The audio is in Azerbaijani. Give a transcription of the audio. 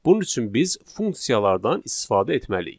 Bunun üçün biz funksiyalardan istifadə etməliyik.